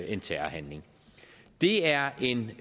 en terrorhandling det er en